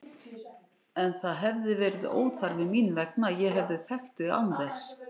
En það hefði verið óþarfi mín vegna, ég hefði þekkt þig án þess.